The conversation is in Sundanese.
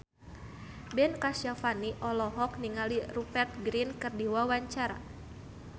Ben Kasyafani olohok ningali Rupert Grin keur diwawancara